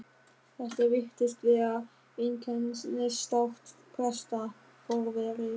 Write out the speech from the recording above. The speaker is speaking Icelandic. Þetta virtist vera einkennistákn presta, forveri